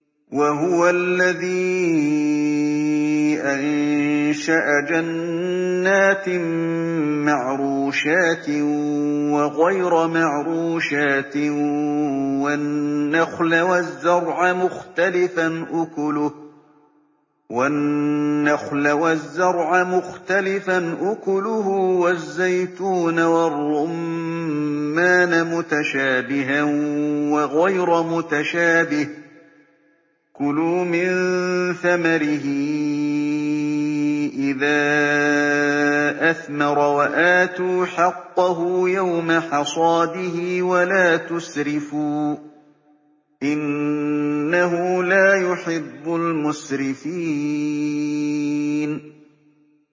۞ وَهُوَ الَّذِي أَنشَأَ جَنَّاتٍ مَّعْرُوشَاتٍ وَغَيْرَ مَعْرُوشَاتٍ وَالنَّخْلَ وَالزَّرْعَ مُخْتَلِفًا أُكُلُهُ وَالزَّيْتُونَ وَالرُّمَّانَ مُتَشَابِهًا وَغَيْرَ مُتَشَابِهٍ ۚ كُلُوا مِن ثَمَرِهِ إِذَا أَثْمَرَ وَآتُوا حَقَّهُ يَوْمَ حَصَادِهِ ۖ وَلَا تُسْرِفُوا ۚ إِنَّهُ لَا يُحِبُّ الْمُسْرِفِينَ